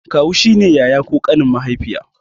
Kawu shine yaya ko ƙanin mahaifiya